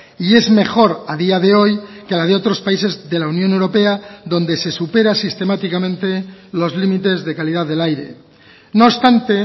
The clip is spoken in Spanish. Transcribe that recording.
y es mejor a día de hoy que la de otros países de la unión europea donde se supera sistemáticamente los límites de calidad del aire no obstante